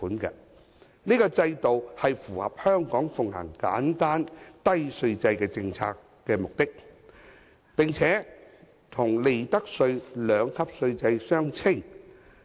此制度符合香港奉行簡單低稅制的政策目的，並且與利得稅的兩級稅率相稱。